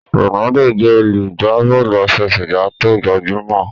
Ronaldo jé olugba Bọ́ọ̀lù àfẹsẹ̀gbá tóo gbajúmò.